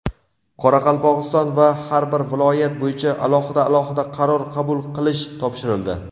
Qoraqalpog‘iston va har bir viloyat bo‘yicha alohida-alohida qaror qabul qilish topshirildi.